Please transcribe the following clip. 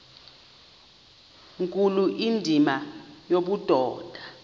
nkulu indima yobudoda